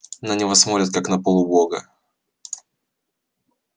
на него смотрят как на полубога